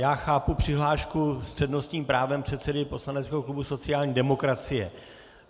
Já chápu přihlášku s přednostním právem předsedy poslaneckého klubu sociální demokracie.